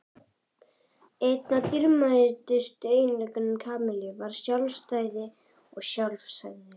Einn af dýrmætustu eiginleikum Kamillu var sjálfstæði og sjálfsagi.